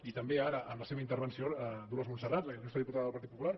i també ara en la seva intervenció dolors montserrat la il·lustre diputada del partit popular